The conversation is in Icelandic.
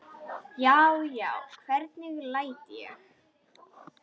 Já, já, hvernig læt ég!